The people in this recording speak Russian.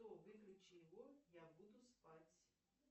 выключи его я буду спать